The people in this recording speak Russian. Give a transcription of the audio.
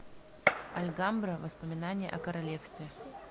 альгамбра воспоминания о королевстве